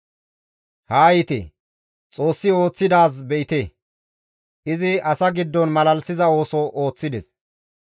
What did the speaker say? Haa yiite; Xoossi ooththidaaz be7ite; izi asa giddon malalisiza ooso ooththides.